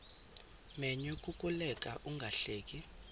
menyo kukuleka ungahleki